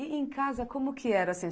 E em casa, como que era assim?